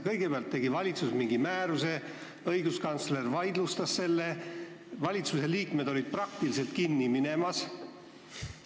Kõigepealt tegi valitsus mingi määruse, õiguskantsler vaidlustas selle ja valitsuse liikmed olid vaat et kinni minemas.